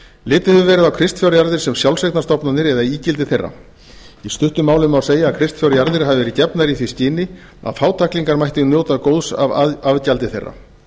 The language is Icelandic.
litið hefur verið á kristfjárjarðir sem sjálfseignarstofnanir eða ígildi þeirra í stuttu máli má segja að kristfjárjarðir hafi verið gefnar í því skyni að fátæklingar mættu njóta afgjaldi þeirra